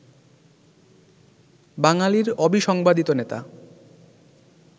বাঙালির অবিসংবাদিত নেতা